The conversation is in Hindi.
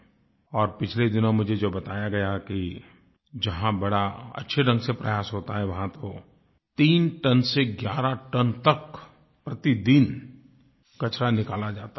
और पिछले दिनों मुझे जो बताया गया कि जहाँ बड़े अच्छे ढंग से प्रयास होता है वहाँ तो तीन टन से ग्यारह टन तक प्रतिदिन कचरा निकाला जाता है